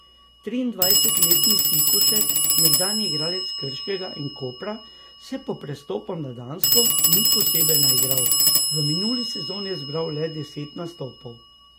Triindvajsetletni Sikošek, nekdanji igralec Krškega in Kopra, se po prestopu na Dansko ni posebej naigral, v minuli sezoni je zbral le deset nastopov.